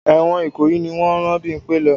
Ẹ̀wọ̀n Ìkòyí ni wọ́n rán Bímpẹ́ lọ.